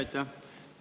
Aitäh!